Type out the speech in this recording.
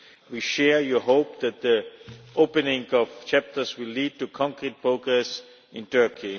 We share your hope that the opening of chapters will lead to concrete progress in Turkey.